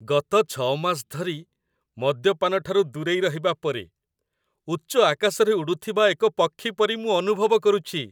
ଗତ ୬ ମାସ ଧରି ମଦ୍ୟପାନ ଠାରୁ ଦୂରେଇ ରହିବା ପରେ, ଉଚ୍ଚ ଆକାଶରେ ଉଡ଼ୁଥିବା ଏକ ପକ୍ଷୀ ପରି ମୁଁ ଅନୁଭବ କରୁଛି।